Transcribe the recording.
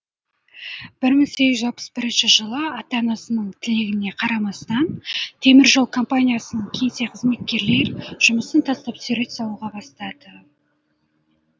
бір мың сегіз жүз алпыс бірінші жылы ата анасының тілегіне қарамастан теміржол компаниясының кеңсе кызметкерлер жұмысын тастап сурет салуға бастады